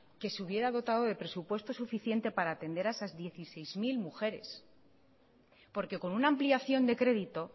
que se hubiera dotado de presupuesto suficiente para atender a estas dieciséis mil mujeres porque con una ampliación de crédito